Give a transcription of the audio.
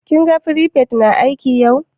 Ka gan firifet na aiki yau?